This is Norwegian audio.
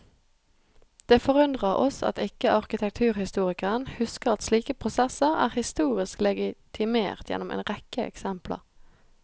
Det forundrer oss at ikke arkitekturhistorikeren husker at slike prosesser er historisk legitimert gjennom en rekke eksempler.